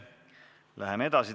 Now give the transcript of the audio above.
Läheme edasi.